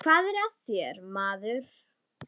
Hvað er að þér, maður?